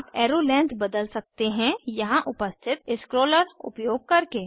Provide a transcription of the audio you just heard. आप arrow length बदल सकते हैं यहाँ उपस्थित स्क्रोलर उपयोग करके